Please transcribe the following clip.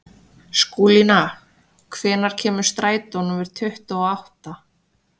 Skúlína, hvenær kemur strætó númer tuttugu og átta?